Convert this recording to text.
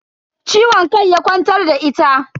Ciwon kai ya kwantar da ita.